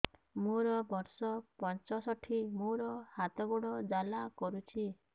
ମୋର ବର୍ଷ ପଞ୍ଚଷଠି ମୋର ହାତ ଗୋଡ଼ ଜାଲା କରୁଛି